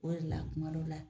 O de la kumadɔ la